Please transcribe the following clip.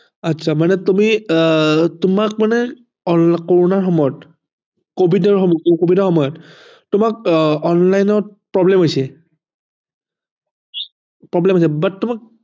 আচ্ছা মানে তুমি আহ তোমাক মানে কৰ'নাৰ সময়ত কভিডৰ সময়ত তোমাক আহ online ত problem হৈছে problem হৈছে but